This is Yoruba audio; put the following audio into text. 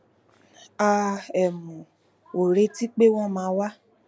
a um ò retí pé wón máa wá